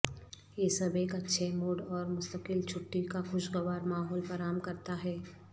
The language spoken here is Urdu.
یہ سب ایک اچھے موڈ اور مستقل چھٹی کا خوشگوار ماحول فراہم کرتا ہے